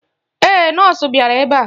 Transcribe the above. Ee, nọọsụ bịara ebe a.